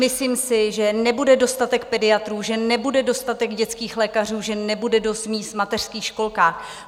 Myslím si, že nebude dostatek pediatrů, že nebude dostatek dětských lékařů, že nebude dost míst v mateřských školkách.